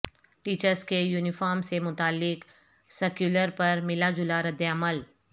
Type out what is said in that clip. teachers کے uniform سے متعلق سرکیولر پر ملا جلا ردعمل